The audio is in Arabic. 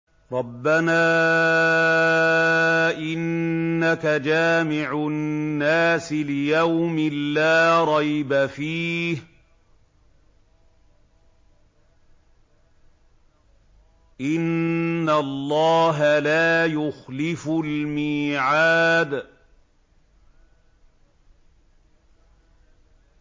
رَبَّنَا إِنَّكَ جَامِعُ النَّاسِ لِيَوْمٍ لَّا رَيْبَ فِيهِ ۚ إِنَّ اللَّهَ لَا يُخْلِفُ الْمِيعَادَ